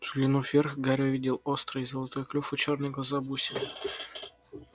взглянув вверх гарри увидел острый золотой клюв и чёрные глаза-бусины